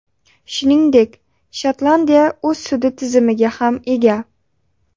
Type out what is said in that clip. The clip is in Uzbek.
Shuningdek, Shotlandiya o‘z sud tizimiga ham ega.